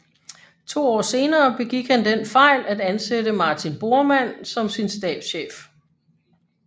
To år senere begik han den fejl at ansætte Martin Bormann som sin stabschef